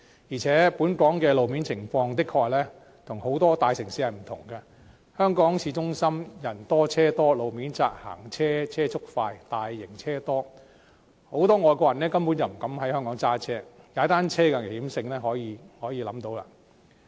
而且，本港的路面情況的確跟很多大城市不同，香港市中心人多、車多、路面窄、行車車速快、大型車輛多，很多外國人根本不敢在香港駕駛，踏單車的危險性可想而知。